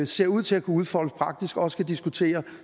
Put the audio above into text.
ser ud til at kunne udfoldes praktisk også kan diskutere